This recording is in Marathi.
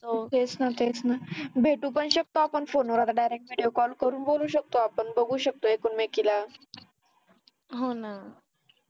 तेच ना तेच ना भेटू पण शकतो आपण फोन वर आता direct vediocall करून बोलू शकतो आपण बघू शकतो एकमेकीला